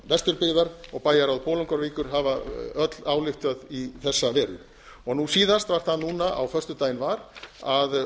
vesturbyggðar og bæjarráð bolungarvíkur hafa öll ályktað í þessa veru nú síðast var það núna á föstudaginn var að